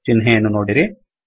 ಚಿಹ್ನೆಯನ್ನು ನೋಡಿರಿ